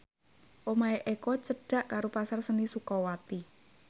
omahe Eko cedhak karo Pasar Seni Sukawati